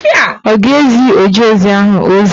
Ọ ga-ezi ojeozi ahụ ozi.